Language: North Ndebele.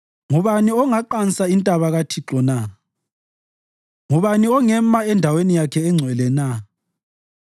Ngubani ongaqansa intaba kaThixo na? Ngubani ongema endaweni yakhe engcwele na?